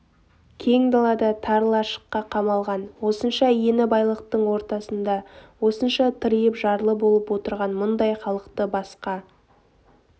кең далада тар лашыққа қамалған осынша ені байлықтың ортасында осынша тыриып жарлы болып отырған мұндай халықты басқа